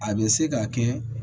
A bɛ se ka kɛ